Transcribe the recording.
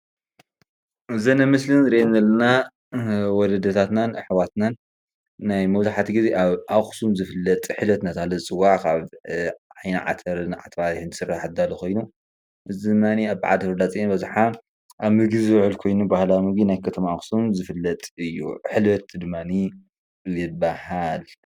እዚን ኣብ ምስሊ ንሪአን ዘለና ወለድታትናን ኣሕዋትናን ናይ መብዛሕቲኡ ግዜ አብ አክሱም ዝፍለጥ ሕልበት እናተባህለ ዝፀዋዕ ካብ ዓይኒ ዓተርን ዓተር ባሕርን ዝስራሕ ዝዳለው ኮይኑ እዚ ድማኒ አብ በዓል ሕዳር ፅዬን ኣብዝሓ ኣብ ምግቢ ዝውዕል ኮይኑ ባህላዊ ምግቢ ናይ ከተማ አክስም ዝፍለጥ እዩ ሕልበት ድማኒ ይበሃል።